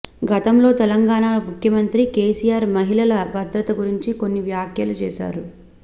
గతంలో తెలంగాణ ముఖ్యమంత్రి కేసీఆర్ మహిళల భద్రత గురించి కొన్ని వ్యాఖ్యలు చేశారు